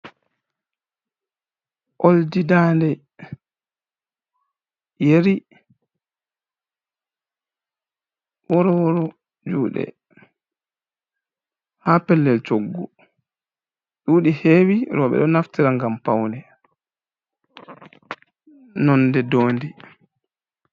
Ooldi daande, Yeri, Worworo juuɗe haa pellel coggu, ɗuuɗi heewi rewɓe ɗo naftira ngam pawne nonnde ndoondi.